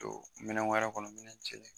Don minɛn wɛrɛ kɔnɔ min jɛlen